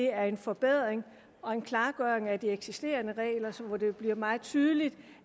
er en forbedring af de eksisterende regler så det bliver meget tydeligt